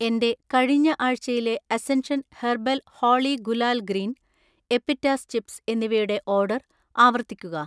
എന്‍റെ കഴിഞ്ഞ ആഴ്‌ചയിലെ Ascension herbal Holi gulal green, എപ്പിറ്റാസ് ചിപ്സ് എന്നിവയുടെ ഓർഡർ ആവർത്തിക്കുക